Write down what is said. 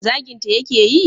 zaginta ya ke yi?